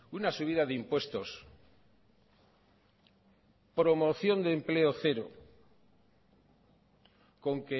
una subida de impuestos promoción de empleo cero con